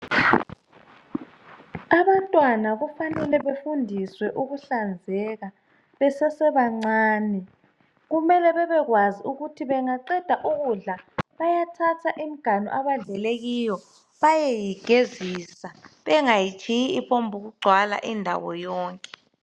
Abantwana kufanele befundiswe ukuhlanzeka besesebancane, kumele babekwazi ukuthi bengaqeda ukudla bayathatha imiganu abadlele kiyo bayeyigezisa bengayitshiyi iphongugcwala indawo yonke